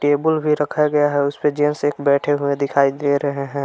Table भी रखा गया है उस पे जेंट्स एक बैठे हुए दिखाई दे रहे हैं।